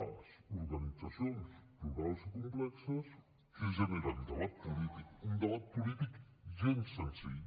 les organitzacions plurals i complexes què generen debat polític un debat polític gens senzill